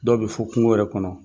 Dɔw bi fo kungo yɛrɛ kɔnɔ.